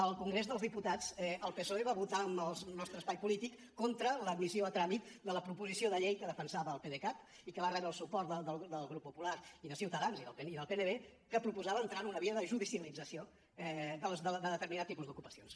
al congrés dels diputats el psoe va votar amb el nostre espai polític contra l’admissió a tràmit de la proposició de llei que defensava el pdecat i que va rebre el suport del grup popular i de ciutadans i del pnv que proposava entrar en una via de judicialització d’un determinat tipus d’ocupacions